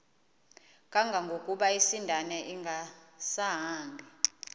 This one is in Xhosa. kangangokuba isindane ingasahambi